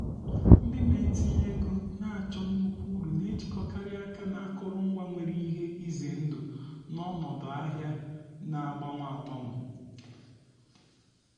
ndị na-etinye ego na-achọ nnukwu uru na-ejikọkarị aka na akụrụngwa nwere ihe ize ndụ n'ọnọdụ ahịa na agbanwe agbanwe.